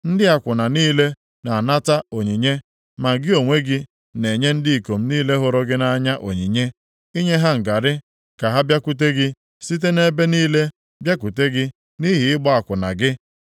Ndị akwụna niile na-anata onyinye, ma gị onwe gị na-enye ndị ikom niile hụrụ gị nʼanya onyinye, inye ha ngarị ka ha bịakwute gị site nʼebe niile bịakwute gị nʼihi ịgba akwụna gị.